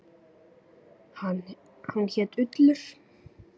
Hann hét Ullur.